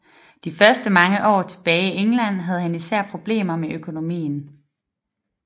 De første mange år tilbage i England havde han især problemer med økonomien